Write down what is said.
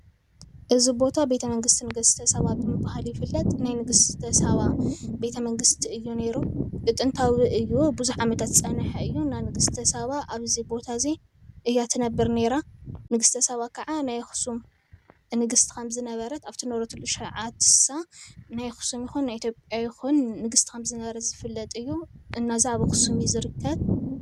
እዚ ቦታ ቤተ ምንግስቲ ንግስተ ሰባ ብምብሃል ይፍለጥ፡፡ ናይ ንግስተ ሳባ ቤተ መንግስቲ እዩ ነይሩ፡፡ ብጥንታዊ እዩ ቡዙሕ ዓመታት ዝፀንሐ እዩ፡፡ ናይ ንግስተ ሳባ ኣብዚ ቦታ እዚ እያ ትነብር ነይራ፡፡ ንግስተ ሳባ ከዓ ናይ ኣክስም ንግስቲ ከም ዝነበረት ኣብቲ ዝነበረትሉ ሽዑ ናይ ኣክሱም ይኩን ናይ ኢትዮጵያ ንግስቲ ከም ዝንበረ ዝፍለጥ እዩ፡፡ እና ኣብ ኣክሱም እዩ ዝርከብ፡፡